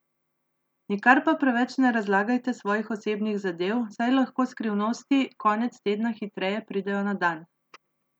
Nikar pa preveč ne razlagajte svojih osebnih zadev, saj lahko skrivnosti konec tedna hitreje pridejo na dan.